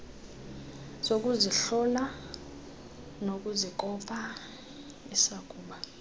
zokuzihlola nokuzikopa isakuba